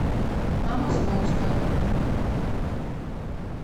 на московской